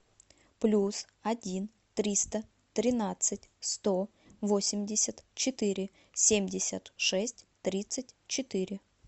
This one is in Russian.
плюс один триста тринадцать сто восемьдесят четыре семьдесят шесть тридцать четыре